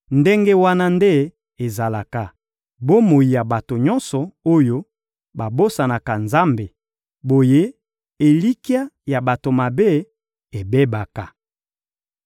Ndenge wana nde ezalaka, bomoi ya bato nyonso oyo babosanaka Nzambe; boye, elikya ya bato mabe ebebaka.